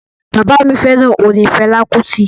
Baba mi feran orin Fela Kuti.